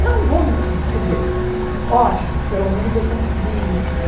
Eu não vou, quer dizer, ótimo, pelo menos eu consegui isso, né?